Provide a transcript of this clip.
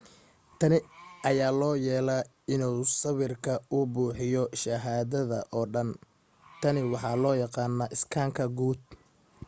tani ayaa loo yeelaa si uu sawirka u buuxiyo shaashada oo dhan tani waxaa loo yaqaanaa iskaanka guud